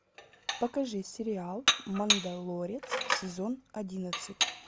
покажи сериал мандалорец сезон одиннадцать